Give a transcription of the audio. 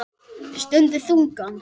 Stundi þungan.